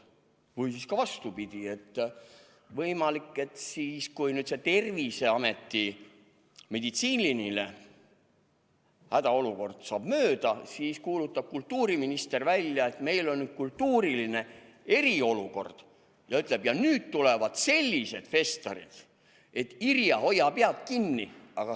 Või siis vastupidi: võimalik, et kui see Terviseameti meditsiiniline hädaolukord saab mööda, siis kuulutab kultuuriminister välja, et meil on nüüd kultuuriline eriolukord ja nüüd tulevad sellised festarid, et, Irja, hoia pead kinni.